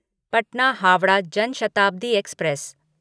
Patna Howrah Jan Shatabdi express